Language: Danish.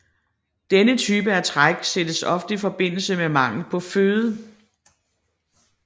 Denne type af træk sættes ofte i forbindelse med mangel på føde